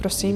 Prosím.